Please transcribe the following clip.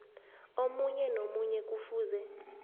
omunye nomunye kufuze